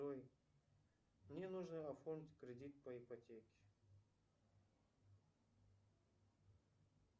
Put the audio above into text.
джой мне нужно оформить кредит по ипотеке